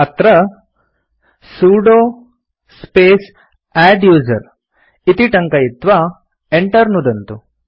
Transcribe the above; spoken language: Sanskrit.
अत्र सुदो स्पेस् अद्दुसेर इति टङ्कयित्वा Enter नुदन्तु